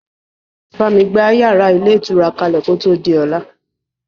Bámi gba yàrá ilé ìtura kalẹ kò tó di ọlá!